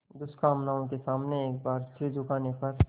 दुष्कामनाओं के सामने एक बार सिर झुकाने पर